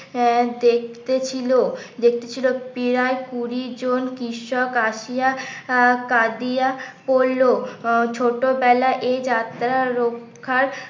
আহ দেখতে ছিল দেখতে ছিল প্রায় কুড়ি জন কৃষক আসিয়া আহ কাঁদিয়া পড়লো ছোটবেলায় এই যাত্রার রক্ষা